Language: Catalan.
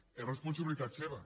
és responsabilitat seva